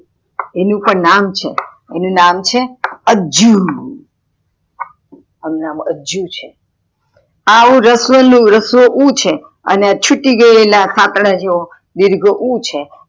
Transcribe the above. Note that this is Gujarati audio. એનું પણ નામ છે, એનું નામ છે અજુ અનુ નામ અજ્જુ છે આવું રસ્વ ઉ છે અને ચૂતી ગયેલું સતદા જેવો દિર્ઘ ઉ છે